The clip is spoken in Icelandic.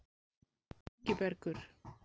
Ingibergur